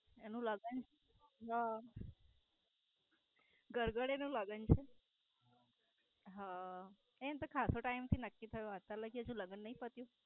એનો લગન. હ ગડગડિયા નો લગન છે? હ એનું ખાસ તો Time થી નક્કી થયું આજકાલ હજુ લગન નય પત્યુ?